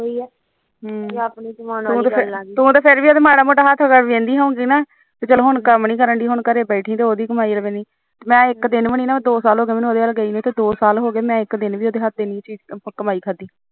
ਤੂੰ ਤਾਂ ਫਿਰ ਮਾੜਾ ਮੋਟਾ ਹੱਥ ਪੈਰ ਮਾਰਦੀ ਹੋਣੀ ਚਲੋ ਹੁਣ ਕੰਮ ਨੀ ਕਰਡੀ ਹੁਣ ਘਰੇ ਬੈਠੀ ਰਹੋ ਮੈਂ ਇੱਕ ਵਾਰ ਨੀ ਉਹਦੇ ਹਥ ਦੀ ਕੰਮ ਖਾਈ